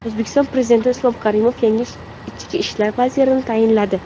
O‘zbekiston Prezidenti Islom Karimov yangi ichki ishlar vazirini tayinladi.